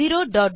2